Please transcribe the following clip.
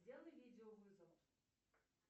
сделай видеовызов